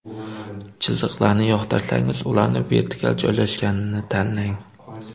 Chiziqlarni yoqtirsangiz, ularning vertikal joylashganini tanlang.